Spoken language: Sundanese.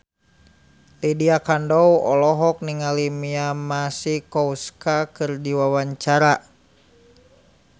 Lydia Kandou olohok ningali Mia Masikowska keur diwawancara